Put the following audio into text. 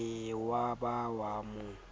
be wa ba wa mo